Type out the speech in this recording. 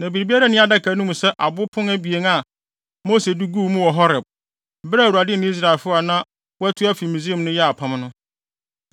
Na biribiara nni adaka no mu sɛ abo apon abien a Mose de guu mu wɔ Horeb, bere a Awurade ne Israelfo a na wɔatu afi Misraim no yɛɛ apam no.